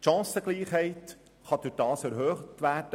Die Chancengleichheit kann dadurch erhöht werden.